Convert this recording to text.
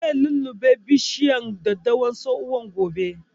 Zai lulluɓe bishiyar daddawar tsohuwan gobe